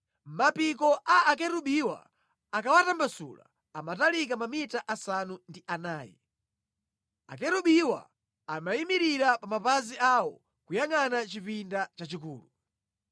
Mapiko a Akerubiwa akawatambasula amatalika mamita asanu ndi anayi. Akerubiwa anayimirira pa mapazi awo, kuyangʼana chipinda chachikulu.